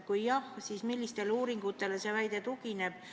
Kui jah, siis millistele uuringutele see mure tugineb?